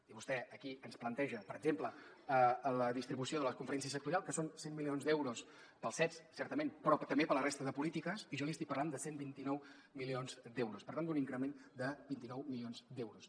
i vostè aquí ens planteja per exemple la distribució de la conferència sectorial que són cent milions d’euros per als cets certament però també per a la resta de polítiques i jo li estic parlant de cent i vint nou milions d’euros per tant d’un increment de vint nou milions d’euros